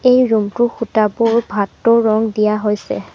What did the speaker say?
এই ৰুম টোৰ খুটাঁবোৰ ভাটৌ ৰং দিয়া হৈছে।